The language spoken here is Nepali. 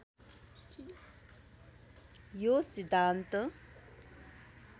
यो सिद्धान्त